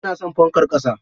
Ina son fankar ƙasa.